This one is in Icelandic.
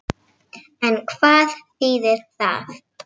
En hvað þýðir það?